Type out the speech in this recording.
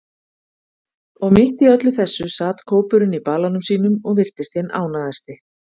Og mitt í öllu þessu sat kópurinn í balanum sínum og virtist hinn ánægðasti.